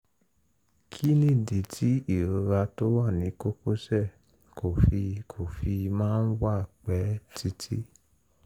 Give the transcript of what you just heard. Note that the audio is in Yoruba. kí nìdí tí ìrora tó wà ní kókósẹ̀ kò fi kò fi máa ń wà pẹ́ títí?